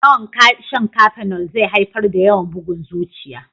Yawan shan kafenol zai haifar da yawan bugun zuciya